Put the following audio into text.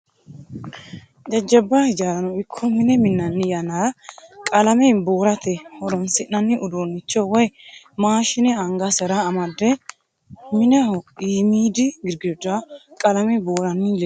jajjabba hijaarano ikko mine minnanni yannara qalame buurate horonsi'nanni uduunnicho woyi maashine angasira amade mineho iimiidi girgiddira qalame buuranni leelanno beettu.